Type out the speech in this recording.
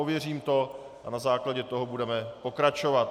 Ověřím to a na základě toho budeme pokračovat.